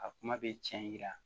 A kuma bɛ tiɲɛ